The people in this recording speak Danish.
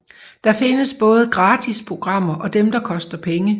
Der findes både gratis programmer og dem der koster penge